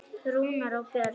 Rúnar og Björn.